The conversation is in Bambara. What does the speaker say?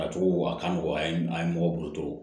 A cogo a ka nɔgɔ a ye mɔgɔ bolo to